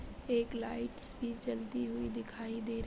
एक लाइट सी जलती हुई देखाई दे रही--